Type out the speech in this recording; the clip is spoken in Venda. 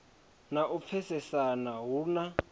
na u pfesesana hu na